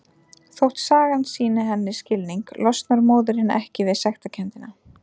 Þótt sagan sýni henni skilning losnar móðirin ekki við sektarkenndina.